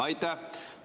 Aitäh!